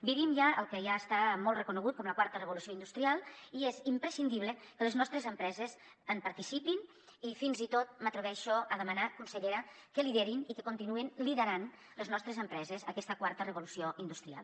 vivim ja el que ja està molt reconegut com la quarta revolució industrial i és imprescindible que les nostres empreses en participin i fins i tot m’atreveixo a demanar consellera que liderin i que continuïn liderant les nostres empreses aquesta quarta revolució industrial